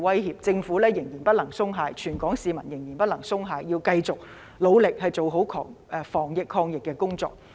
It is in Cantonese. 因此，政府仍然不能鬆懈，全港市民仍然不能鬆懈，要繼續努力做好防疫及抗疫工作。